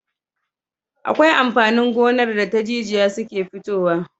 Akwai amfanin gonar da ta jijiya suke futowa